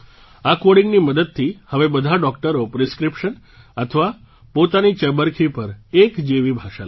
આ કૉડિંગની મદદથી હવે બધા ડૉક્ટરો પ્રિસ્ક્રિપ્શન અથવા પોતાની ચબરખી પર એક જેવી ભાષા લખશે